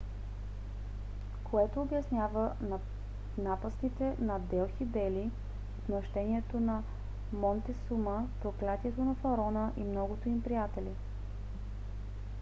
което обяснява напастите на делхи бели отмъщението на монтесума проклятието на фараона и многото им приятели